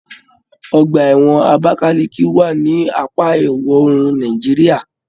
Ọgbà ẹwọn Abakaliki wà ní apá ìwọòrùn Nàìjíríà